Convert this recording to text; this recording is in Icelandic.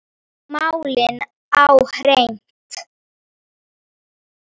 Að fá málin á hreint